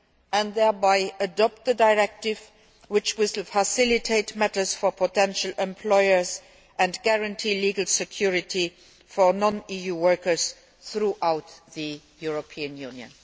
and thereby adopt the directive, which will facilitate matters for potential employers and guarantee legal security for non EU workers throughout the European Union.